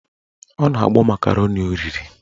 Ọ na-agbọ makaroni o riri